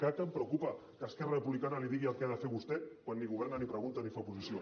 clar que em preocupa que esquerra republicana li digui el que ha de fer a vostè quan ni governa ni pregunta ni fa oposició